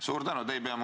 Suur tänu!